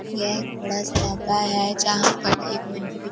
यह एक बड़ा सा डब्बा है जहां पर एक --